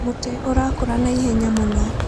Mũtĩ ũrakũra na ihenya mũno.